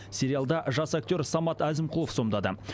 сериалда жас актер самат әзімқұлов сомдады